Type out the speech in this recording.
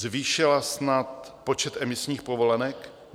Zvýšila snad počet emisních povolenek?